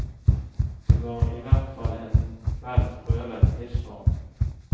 Det var i hvert fall en vel prøvet livsform.